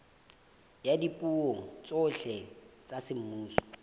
ya dipuo tsohle tsa semmuso